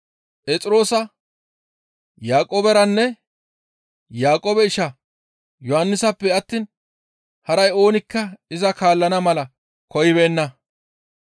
Phexroosa, Yaaqooberanne Yaaqoobe isha Yohannisappe attiin haray oonikka iza kaallana mala koyibeenna.